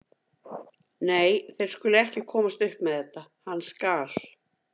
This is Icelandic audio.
Nei, þeir skulu ekki komast upp með þetta, hann skal.